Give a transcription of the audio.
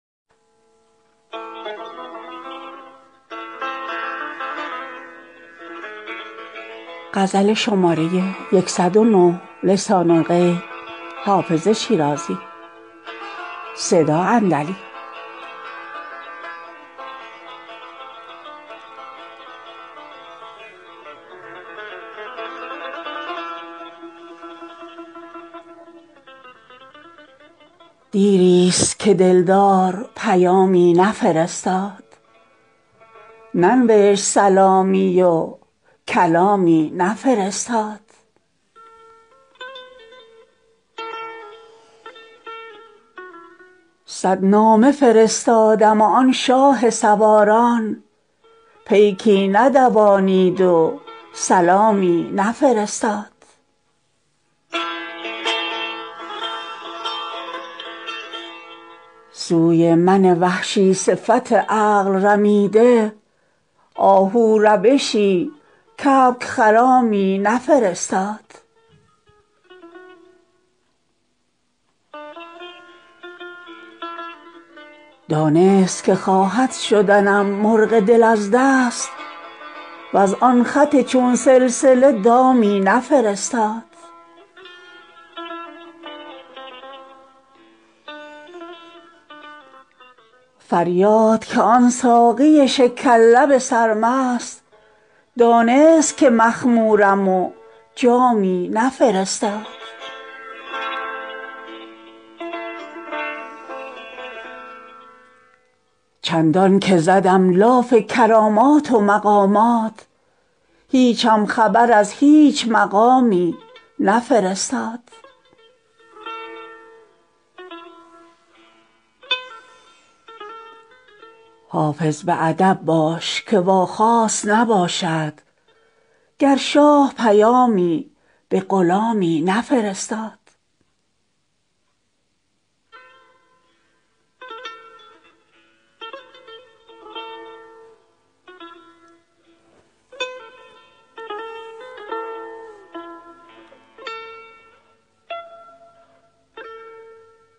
دیر است که دل دار پیامی نفرستاد ننوشت سلامی و کلامی نفرستاد صد نامه فرستادم و آن شاه سواران پیکی ندوانید و سلامی نفرستاد سوی من وحشی صفت عقل رمیده آهو روشی کبک خرامی نفرستاد دانست که خواهد شدنم مرغ دل از دست وز آن خط چون سلسله دامی نفرستاد فریاد که آن ساقی شکر لب سرمست دانست که مخمورم و جامی نفرستاد چندان که زدم لاف کرامات و مقامات هیچم خبر از هیچ مقامی نفرستاد حافظ به ادب باش که واخواست نباشد گر شاه پیامی به غلامی نفرستاد